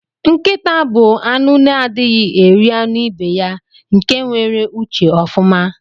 Nkita bu anụ na adighi eri anụ ibeya nke nwere uche ofụma.